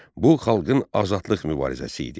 Bu xalqın azadlıq mübarizəsi idi.